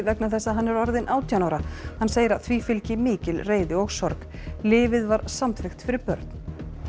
vegna þess að hann er orðinn átján ára hann segir að því fylgi mikil reiði og sorg lyfið var samþykkt fyrir börn